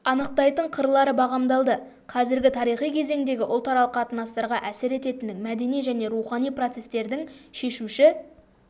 анықтайтын қырлары бағамдалды қазіргі тарихи кезеңдегі ұлтаралық қатынастарға әсер ететін мәдени және рухани процестердің шешуші